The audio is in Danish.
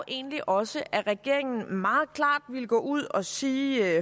egentlig også at regeringen meget klart ville gå ud og sige